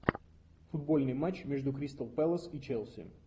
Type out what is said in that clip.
футбольный матч между кристал пэлас и челси